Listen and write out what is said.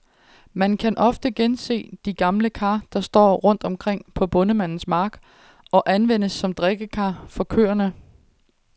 Man kan ofte gense de gamle kar, der står rundt omkring på bondemandens mark, og anvendes som drikkekar for køerne.